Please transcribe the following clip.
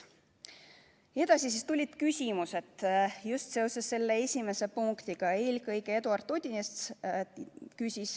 Edasi tulid küsimused just seoses selle esimese punktiga, eelkõige Eduard Odinets küsis.